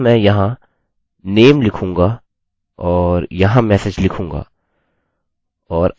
अतः मैं यहाँ name लिखूंगा और यहाँ message लिखूंगा